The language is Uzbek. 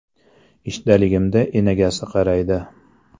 Ishdaligimda enagasi qaraydi.